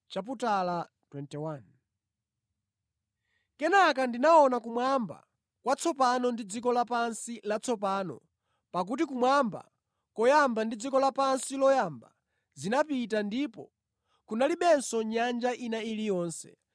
Kenaka ndinaona kumwamba kwatsopano ndi dziko lapansi latsopano pakuti kumwamba koyamba ndi dziko lapansi loyamba zinapita ndipo kunalibenso nyanja ina iliyonse.